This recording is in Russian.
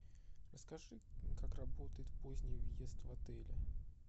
расскажи как работает поздний въезд в отеле